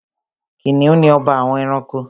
Kìnìún ni ọba àwọn ẹranko.